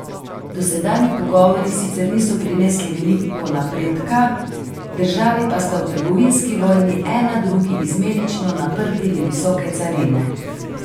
Dosedanji pogovori sicer niso prinesli veliko napredka, državi pa sta v trgovinski vojni ena drugi izmenično naprtili visoke carine.